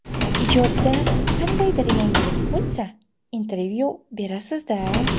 Ijodda qandaydir yangilik bo‘lsa, intervyu berasiz-da.